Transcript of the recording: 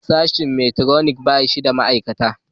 Sashen mekatroniks ba shi da ma'aikata